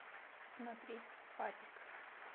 смотреть папик